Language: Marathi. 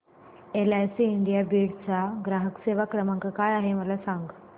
एलआयसी इंडिया बीड चा ग्राहक सेवा क्रमांक काय आहे मला सांग